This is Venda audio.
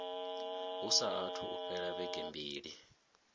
hu saathu fhela vhege mbili